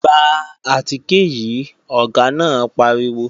Gba àtìkè yìí, Ọ̀gá náà pariwo!